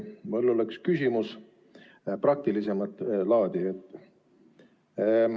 Mul oleks praktilisemat laadi küsimus.